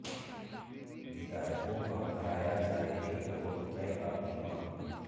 विधायकों का कराया जाए एक करोड़ रुपए का बीमा